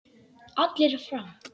Allir fram!